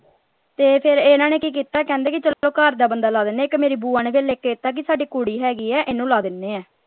ਤੇ ਫੇਰ ਇਨ੍ਹਾਂ ਨੇ ਕੀ ਕੀਤਾ ਕਹਿੰਦੇ ਕਿ ਚਲੋ ਘਰ ਦਾ ਬੰਦਾ ਲਾ ਦਿੰਦੇ ਇਕ ਮੇਰੀ ਬੁਆ ਨੇ ਫੇਰ ਲਿਖ ਕੇ ਦਿਤਾ ਕਿ ਸਾਡੀ ਕੁੜੀ ਹੈਗੀ ਹੈ ਇਹ ਨੂੰ ਲਾ ਦਿੰਦੇ ਹੈ।